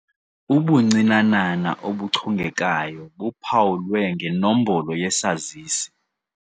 Ubuncinanana obuchongekayo buphawulwe ngenombolo yesazisi.